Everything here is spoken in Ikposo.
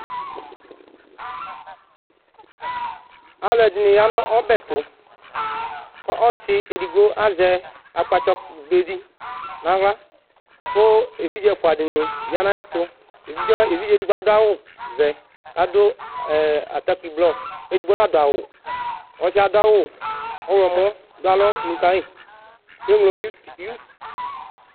Alʋɛdìní ya nʋ ɔbɛ tu kʋ ɔsi ɛdigbo azɛ akpatsɔ be di nʋ aɣla kʋ evidze ɛfʋa dìní ya nʋ ayʋ ɛtu Evidze ɛdigbo adu awu vɛ kʋ adu atakpi blɔ ɛdigbo nadu awu Ɔsi yɛ adu awu ɔwlɔmɔ du alɔ nʋ kayi kʋ enylo